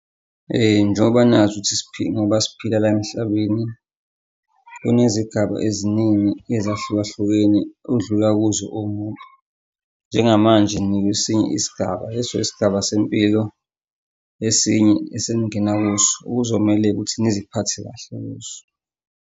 Njengoba nazi ukuthi ngoba siphila la emhlabeni kunezigaba eziningi ezahlukahlukene odlula kuzo uwumuntu, njengamanje nikwesinye isigaba, leso isigaba sempilo esinye eseningena kuso okuzomele ukuthi niziphathe kahle kuso.